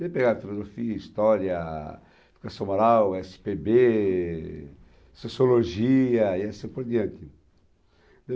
Peguei a filosofia, história, educação moral, esse pê bê, sociologia e assim por diante.